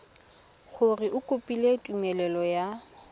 gore o kopile tumelelo ya